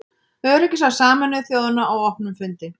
Öryggisráð Sameinuðu þjóðanna á opnum fundi.